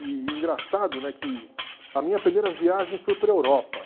E engraçado, né, que a minha primeira viagem foi para a Europa.